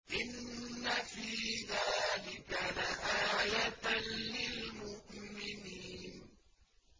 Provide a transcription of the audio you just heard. إِنَّ فِي ذَٰلِكَ لَآيَةً لِّلْمُؤْمِنِينَ